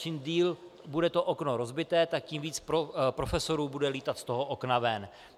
Čím déle bude to okno rozbité, tak tím víc profesorů bude lítat z toho okna ven.